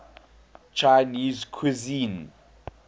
chinese cuisine